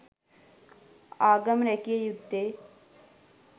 ආගම රැකිය යුත්තේ